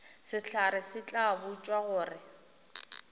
sehlare se tla botšwa gore